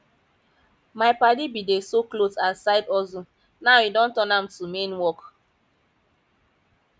my padi bin dey sew clot as side hustle now e don turn am to main work